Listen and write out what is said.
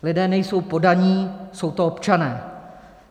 Lidé nejsou poddaní, jsou to občané.